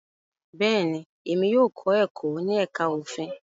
Bẹ́ẹ̀ni, emi yóò kọ ẹkọ ni ẹka ofin